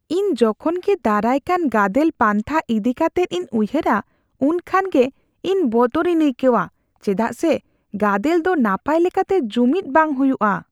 ᱤᱧ ᱡᱚᱠᱷᱚᱱ ᱜᱮ ᱫᱟᱨᱟᱭ ᱠᱟᱱ ᱜᱟᱫᱮᱞ ᱯᱟᱱᱛᱷᱟ ᱤᱫᱤ ᱠᱟᱛᱮᱫ ᱤᱧ ᱩᱭᱦᱟᱹᱨᱟ, ᱩᱱ ᱠᱷᱟᱱ ᱜᱮ ᱤᱧ ᱵᱚᱛᱚᱨᱤᱧ ᱟᱹᱭᱠᱟᱹᱣᱼᱟ ᱪᱮᱫᱟᱜ ᱥᱮ ᱜᱟᱫᱮᱞ ᱫᱚ ᱱᱟᱯᱟᱭ ᱞᱮᱠᱟᱛᱮ ᱡᱩᱢᱤᱫ ᱵᱟᱝ ᱦᱩᱭᱩᱜᱼᱟ ᱾